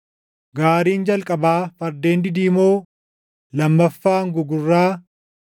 Gaariin jalqabaa fardeen didiimoo, lammaffaan gugurraa,